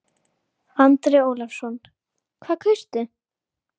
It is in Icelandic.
Andri Ólafsson: Hvað kaustu?